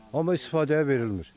Amma istifadəyə verilmir.